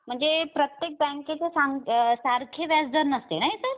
म्हणजे प्रत्येक बँकेचे सारखे व्याजदर नसते नाही सर?